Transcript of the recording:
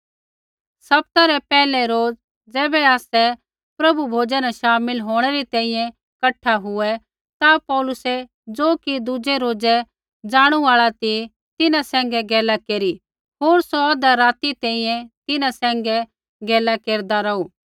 सप्ताह रै पैहलै रोज़ै ज़ैबै आसै प्रभु भोजा न शामिल होंणै री तैंईंयैं कठा हुऐ ता पौलुसै ज़ो कि दुज़ै रोज़ै ज़ाणू आल़ा ती तिन्हां सैंघै गैला केरी होर सौ औधा राती तैंईंयैं तिन्हां सैंघै गैला केरदा रौहू